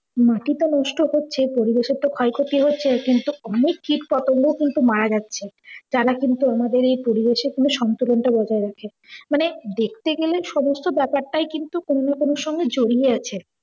মাটি তো নষ্ট হচ্ছেই, পরিবেশের তো ক্ষয়ক্ষতি হচ্ছেই তার সঙ্গে অনেক কীট পতঙ্গ কিন্তু মারা যাচ্ছে। যারা কিন্তু আমাদের এই পরিবেশের কিন্তু সন্তুলন টা বজায় রাখে। মানে দেখতে গেলে সমস্ত ব্যাপারটাই কিন্তু কোনও না কোনও এর সঙ্গে জড়িয়ে আছে।